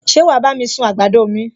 Ṣé wàá bá mi sun àgbàdo mi?